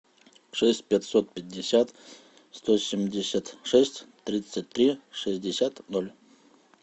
шесть пятьсот пятьдесят сто семьдесят шесть тридцать три шестьдесят ноль